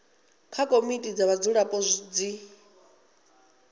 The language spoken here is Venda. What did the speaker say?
kha komiti dza vhadzulapo zwi